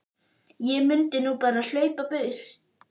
Ég mundi nú bara hlaupa í burtu.